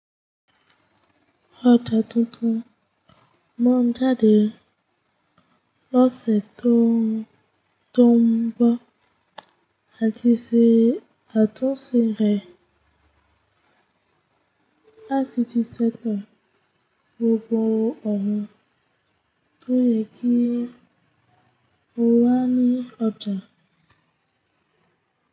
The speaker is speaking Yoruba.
Oja titun máa jáde lóṣà tó ń bọ̀, àdí sí àtúnṣe ICT sector gbogbo ọ̀run, tó yẹ kí o wá ní ọjà.